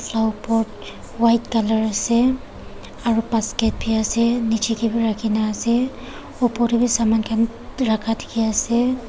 Flower pot white colour ase aro basket bi ase niche te bi rakhina ase upor te bi saman khan rakha dekhi ase.